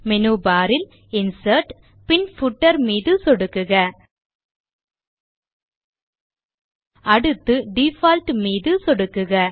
menu bar இல் insert பின் footer மீது சொடுக்குக அடுத்து டிஃபால்ட் மீது சொடுக்குக